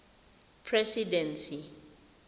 presidency